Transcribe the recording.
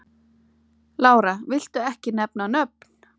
Lára: Viltu ekki nefna nöfn?